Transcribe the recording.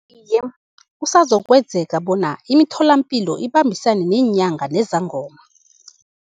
Iye, kusazokwenzeka bona imitholampilo ibambisane neenyanga nezangoma.